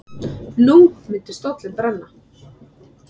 Nú myndi stóllinn brenna.